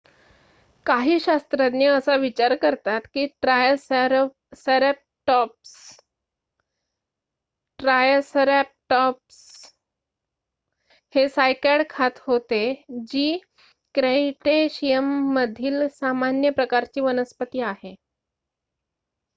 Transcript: काही शास्त्रज्ञ असा विचार करतात की ट्रायसरॅटॉप्स हे सायकॅड खात होते जी क्रीटेशियमधील सामान्य प्रकारची वनस्पती आहे